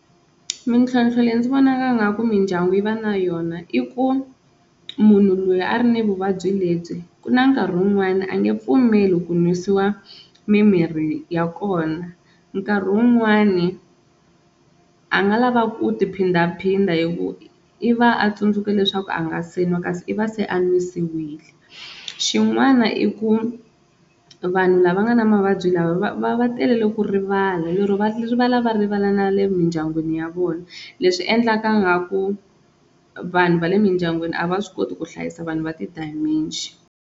Mintlhontlho leyi ndzi vonaka ingaku mindyangu yi va na yona i ku munhu loyi a ri na vuvabyi lebyi ku na nkarhi wun'wani a nge pfumeli ku nwisiwa mimirhi ya kona, nkarhi wun'wani a nga lava ku ti phindaphinda hi ku i va a tsundzuke leswaku a nga se nwa kasi i va se a n'wisiwile, xin'wana i ku vanhu lava nga na mavabyi lama va talele ku rivala lero va rivala va rivala na le mindyangwini ya vona leswi endlaka ngaku vanhu va le mindyangwini a va swi koti ku hlayisa vanhu va ti-dementia.